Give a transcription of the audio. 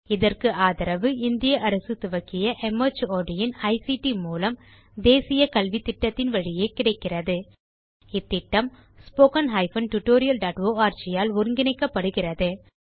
இதற்கு ஆதரவு இந்திய அரசு துவக்கிய மார்ட் இன் ஐசிடி மூலம் தேசிய கல்வித்திட்டத்தின் வழியே கிடைக்கிறதுஇந்த திட்டம் httpspoken tutorialorg ஆல் ஒருங்கிணைக்கப்படுகிறது